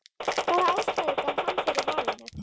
hvaða ástæðu gaf hann fyrir valinu?